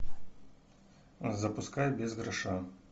запускай без гроша